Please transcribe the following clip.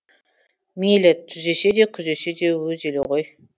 мейлі түзесе де күзесе де өз елі ғой